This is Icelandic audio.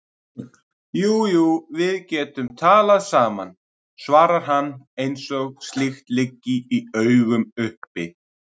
Jú jú, við getum talað saman, svarar hann eins og slíkt liggi í augum uppi.